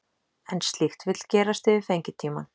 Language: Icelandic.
En slíkt vill gerast yfir fengitímann.